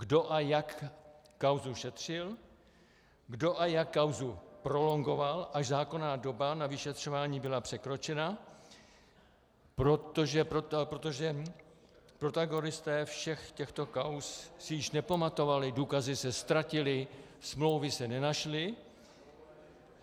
Kdo a jak kauzu šetřil, kdo a jak kauzu prolongoval, až zákonná doba na vyšetřování byla překročena, protože protagonisté všech těchto kauz si již nepamatovali, důkazy se ztratily, smlouvy se nenašly.